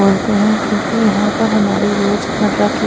बोलते हैं क्योंकि यहाँ पर हमारी रोज मर्रा की--